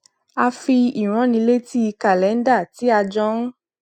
a fi ìránnilétí kàlẹńdà tí a jọ ń